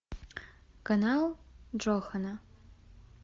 канал джохана